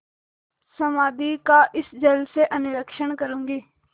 समाधि का इस जल से अन्वेषण करूँगी